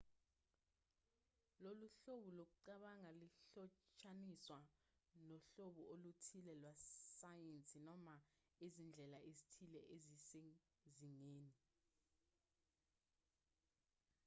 lolu hlobo lokucabanga lihlotshaniswa nohlobo oluthile lwesayensi noma izindlela ezithile ezisezingeni